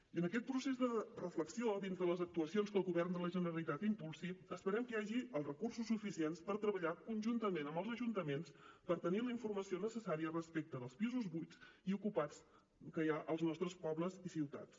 i en aquest procés de reflexió dins de les actuacions que el govern de la generalitat impulsi esperem que hi hagi els recursos suficients per treballar conjuntament amb els ajuntaments per tenir la informació necessària respecte dels pisos buits i ocupats que hi ha als nostres pobles i ciutats